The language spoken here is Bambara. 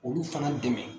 Olu fana dɛmɛ